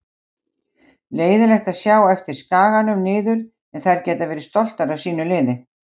Leiðinlegt að sjá á eftir Skaganum niður en þær geta verið stoltar af sínu liði.